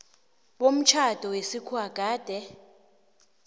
bomtjhado wesikhuwa gade